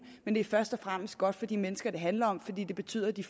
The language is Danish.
men det er først og fremmest godt for de mennesker det handler om fordi det betyder at de